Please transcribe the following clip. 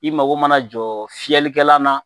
I mako mana jɔ fiyɛlikɛlan na,